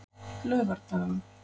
laugardaga